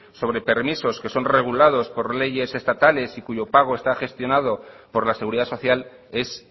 sobre permisos que son regulados por leyes estatales y cuyo pago está gestionado por la seguridad social es